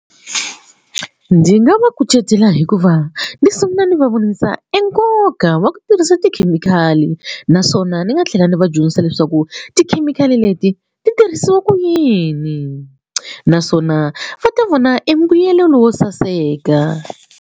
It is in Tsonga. Ndzi nga va kucetela hi ku va ni sungula ni va vonisa e nkoka wa ku tirhisa tikhemikhali naswona ndzi nga tlhela ndzi va dyondzisa leswaku tikhemikhali leti ti tirhisiwa kuyini naswona va ta vona e mbuyelelo wo saseka.